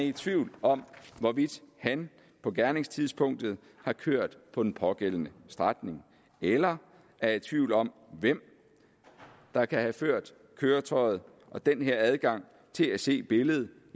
i tvivl om hvorvidt han på gerningstidspunktet har kørt på den pågældende strækning eller er i tvivl om hvem der kan have ført køretøjet og den her adgang til at se billedet